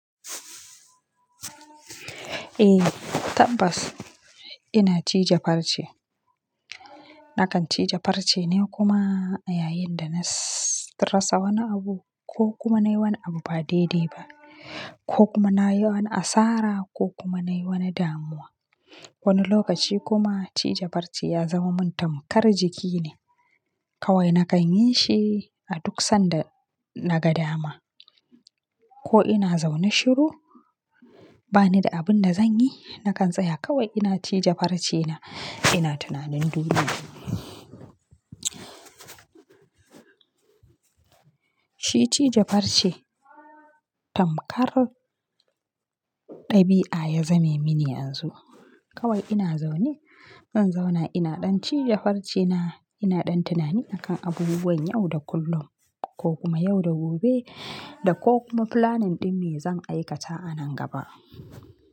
Eh tabbas ina cije farce. Nakan cije farce ne kuma yayin da na rasa wani abu ko kuma nai wani abu ba daidai ba ko kuma na yi wani asara ko kuma nai wani damuwa. Wani lokaci kuma cije farce ya zama min tamkar jiki ne. Kawai nakan yi shi a duk sanda naga dama ko ina zaune shiru bani da abin da zan yi nakan tsaya kawai ina cije farce na, ina tunanin duniya. Shi cije farce tamkar ɗabi'a ya zame mini yanzu. Kawai ina zaune, zan zauna ina ɗan cije farce na, ina ɗan tunani a kan abubuwan yau da kullum ko kuma yau da gobe da ko kuma flanin ɗin me zan aikata a nan gaba.